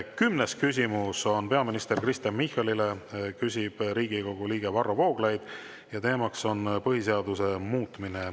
Kümnes küsimus on peaminister Kristen Michalile, küsib Riigikogu liige Varro Vooglaid ja teema on põhiseaduse muutmine.